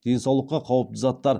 денсаулыққа қауіпті заттар